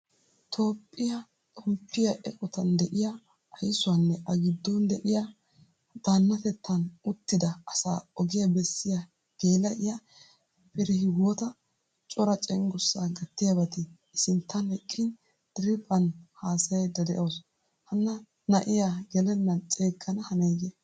Toohphpiyaa xomppiyaa eqqottaan de'iyaa aysuwaanne a giddon de'iyaa daanatettan uttida asaa ogiyaa beesiyaa gel'iya Firehiwota cora cenggurssa gatiyabatti i sinttan eqqin diriphphan haasayda de'awusu. Hana na'iyaa gelenan ceegana hanayee?